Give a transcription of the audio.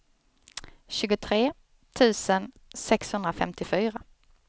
tjugotre tusen sexhundrafemtiofyra